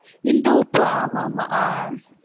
இந்துப்பு, ஆமா ஆமா ஆஹ்